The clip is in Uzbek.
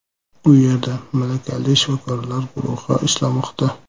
U yerda malakali shifokorlar guruhi ishlamoqda.